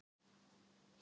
Makríll í Pollinum